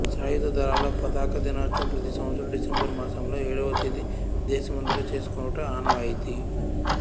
సాయుధ దళాల పతాక దినోత్సవం ప్రతి సంవత్సరం డిసెంబరు మాసములో ఏడవ తేదిన దేశమంతట చేసుకొనుట ఆనవాయితీ